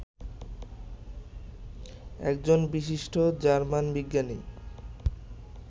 একজন বিশিষ্ট জার্মান বিজ্ঞানী